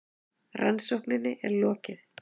Rannsókninni er lokið!